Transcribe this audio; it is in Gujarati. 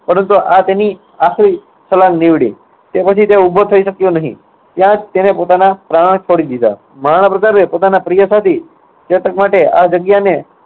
પરંતુ આ એની આખરી છલાંગ નીવડી. તે પછી તે ઉભો થઇ શક્યો નહિ. ત્યાં જ તેને પોતાના પ્રાણ છોડી દીધા. મહારાણા પ્રતાપે પોતાના પ્રિય સાથી ચેતક માટે આ જગ્યાને